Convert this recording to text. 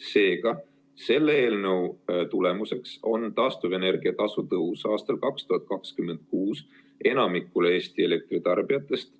Seega, selle eelnõu tulemuseks on 2026. aastal taastuvenergia tasu tõus 37,5% enamikule Eesti elektritarbijatest